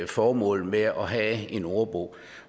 formål med at have en ordbog